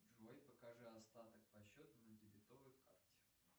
джой покажи остаток по счету на дебетовой карте